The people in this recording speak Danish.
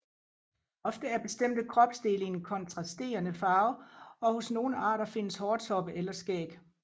Ofte er bestemte kropsdele i en kontrasterende farve og hos nogle arter findes hårtoppe eller skæg